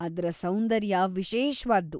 ಅದ್ರ ಸೌಂದರ್ಯ ವಿಶೇಷ್ವಾದ್ದು.